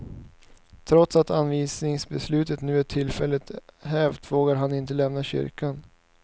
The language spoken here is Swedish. Trots att avvisningsbeslutet nu är tillfälligt hävt, vågar han inte lämna kyrkan.